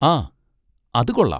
ആ, അത് കൊള്ളാം.